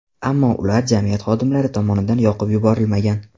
Ammo ular jamiyat xodimlari tomonidan yoqib yuborilmagan.